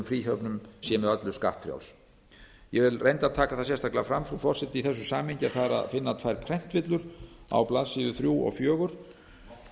fríhöfnum sé með öllu skattfrjáls ég vil reyndar taka það sérstaklega fram frú forseti í þessu samhengi að það er að finna tvær prentvillur á blaðsíðu þrjú og fjögur